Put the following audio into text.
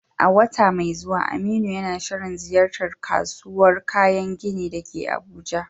A wata mai zuwa, Aminu yana shirin ziyartar kasuwar kayan gini da ke Abuja.